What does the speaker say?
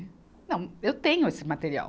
Não, eu tenho esse material.